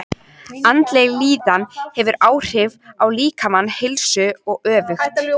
Andleg líðan hefur áhrif á líkamlega heilsu og öfugt.